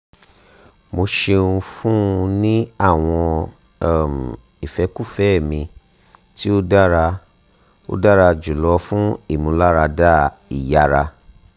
mo ṣeun fun u ni awọn um ifẹkufẹ mi ti o dara o dara julọ fun imularada iyara